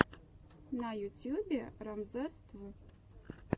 на ютьюбе рамзесств